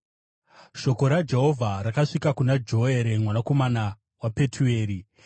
Shoko raJehovha rakasvika kuna Joere mwanakomana waPetueri.